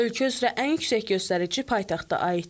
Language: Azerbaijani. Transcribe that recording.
Ölkə üzrə ən yüksək göstərici paytaxta aiddir.